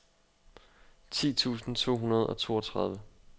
ti tusind to hundrede og toogtredive